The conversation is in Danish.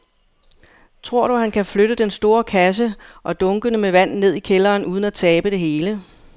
Tror du, at han kan flytte den store kasse og dunkene med vand ned i kælderen uden at tabe det hele?